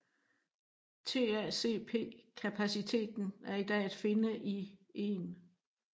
TACP kapaciteten er i dag at finde i 1